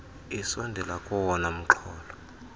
sisondela kowona mxholo